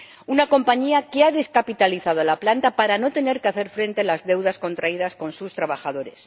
Una compañía que ha descapitalizado la planta para no tener que hacer frente a las deudas contraídas con sus trabajadores.